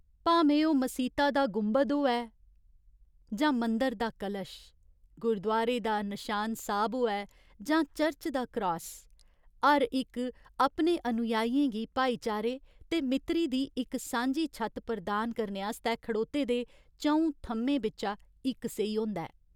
भामें ओह् मसीता दा गुंबद होऐ जां मंदर दा कलश, गुरुद्वारे दा नशान साहिब होऐ, जां चर्च दा क्रास, हर इक अपने अनुयायियें गी भाईचारे ते मित्तरी दी इक सांझी छत्त प्रदान करने आस्तै खड़ोते दे च'ऊं थ'म्में बिच्चा इक सेही होंदा ऐ।